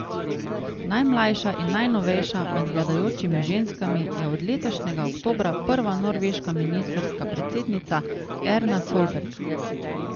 Najmlajša in najnovejša med vladajočimi ženskami je od letošnjega oktobra prva norveška ministrska predsednica Erna Solberg.